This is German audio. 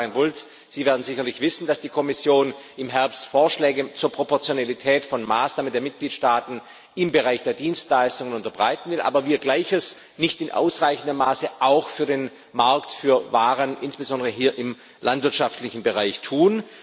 Frau Kommissarin Bulc, Sie werden sicherlich wissen, dass die Kommission im Herbst Vorschläge zur Proportionalität von Maßnahmen der Mitgliedstaaten im Bereich der Dienstleistungen unterbreiten will, wir aber Gleiches nicht in ausreichendem Maße auch für den Markt für Waren, insbesondere hier im landwirtschaftlichen Bereich, tun.